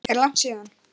Er langt síðan?